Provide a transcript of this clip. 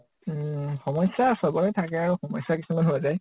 উম । সমস্যা চবৰে থাকে আৰু । সমস্যা কিছুমান হৈ যায় ।